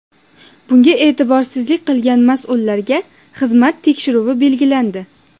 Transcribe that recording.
Bunga e’tiborsizlik qilgan mas’ullarga xizmat tekshiruvi belgilandi.